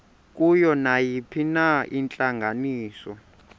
kuyo nayiphina intlanganiso